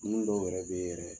Dumuni dɔw yɛrɛ bɛ yen yɛrɛ